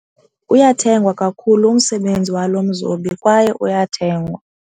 Uyathengwa kakhulu umsebenzi walo mzobi kwaye uyathengwa.